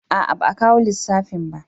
A'a ba a kawo lissafin ba